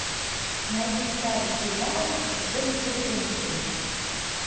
найди старый сериал с дженифер энистон